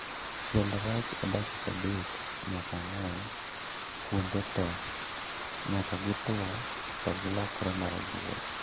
Chiel rech e dakika adek nyaka ang'wen kuonde tee nyaka gituo to gilokre marabuora